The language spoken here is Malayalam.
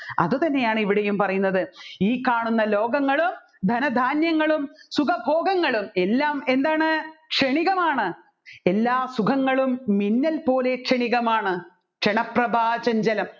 അതുതന്നെയാണ് ഇവിടെയും പറയുന്നത് ഈ കാണുന്ന ലോകങ്ങളും ധനധാന്യങ്ങളും സുഖഭോഗങ്ങളും എല്ലാം എന്താണ് ക്ഷണികമാണ് എല്ലാ സുഖങ്ങളും മിന്നൽ പോലെ ക്ഷണികമാണ് ക്ഷണപ്രഭ ചഞ്ചലം